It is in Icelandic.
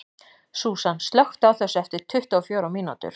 Súsan, slökktu á þessu eftir tuttugu og fjórar mínútur.